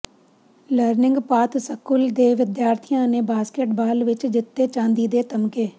learning path school ਦੇ ਵਿਦਿਆਰਥੀਆਂ ਨੇ ਬਾਸਕੇਟ ਬਾਲ ਵਿੱਚ ਜਿੱਤੇ ਚਾਂਦੀ ਦੇ ਤਮਗੇ